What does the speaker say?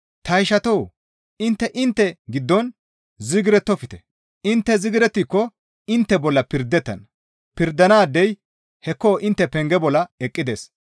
Ta ishatoo! Intte intte giddon zigirettofte; intte zigirettiko intte bolla pirdettana; pirdanaadey hekko intte penge bolla eqqides.